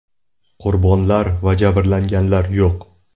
Qurbonlar va jabrlanganlar yo‘q.